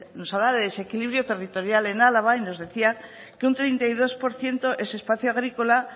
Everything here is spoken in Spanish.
nos hablaba de desequilibrio territorial en álava y nos decía que un treinta y dos por ciento es espacio agrícola